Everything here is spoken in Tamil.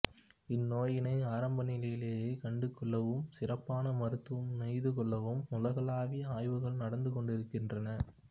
இந்நோயினை ஆரம்ப நிலையிலேயே கண்டுகொள்ளவும் சிறப்பான மருத்துவம் நெய்துகொள்ளவும் உலகளாவிய ஆய்வுகள் நடந்து கொண்டுஇருக்கின்றன